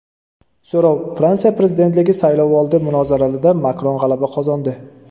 So‘rov: Fransiya prezidentligi saylovoldi munozaralarida Makron g‘alaba qozondi.